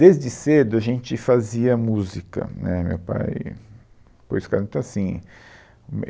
Desde cedo, a gente fazia música, né, meu pai, pois assim